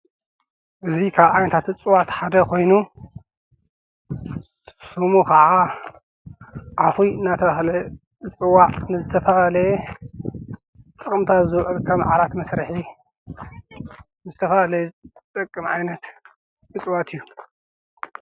እዚ ካብ ዓይነታት እፅዋት ሓደ ኮይኑ ሽሙ ከዓ ዓውሒ እናተብሃለ ዝፅዋዕ ንዝተፈላለየ ጥቅምታት ዝውዕል ከም ዓራት መስርሒ ዝተፈላለዩ ዝጠቅም ዓይነት እፅዋት እዩ።